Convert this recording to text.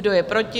Kdo je proti?